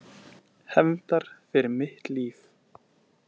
Hefndar fyrir mitt líf.